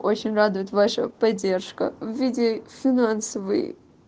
очень радует ваша поддержка в виде финансовой